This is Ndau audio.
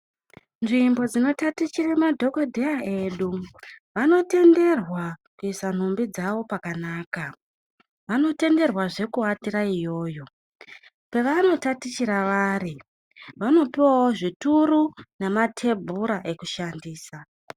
Nzvimbo dzinotatichira madhokodheya edu vanotenderwa kuisa nhumbi dzavo pakanaka vanotenderwa zve kuvatira iyoyo pavano tatichira vari vanopuwa wo zvituru nematebhura kushandisa.